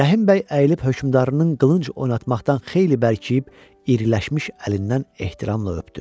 Rəhim bəy əyilib hökmdarının qılınc oynatmaqdan xeyli bərkiyib, iriləşmiş əlindən ehtiramla öpdü.